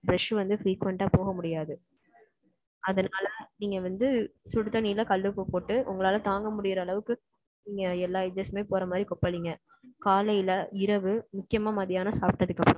brush வந்து, frequent ஆ போக முடியாது. அதனால, நீங்க வந்து, சுடுதண்ணியில, கல் உப்பு போட்டு, உங்களால, தாங்க முடியற அளவுக்கு, நீங்க, எல்லா edges மே, போற மாரி, கொப்பளிங்க. காலையில, இரவு, முக்கியமா, மத்தியானம், சாப்பிட்டதுக்கு அப்~